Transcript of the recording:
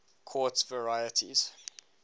quartz varieties